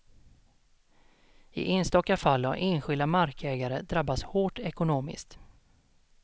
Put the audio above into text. I enstaka fall har enskilda markägare drabbats hårt ekonomiskt.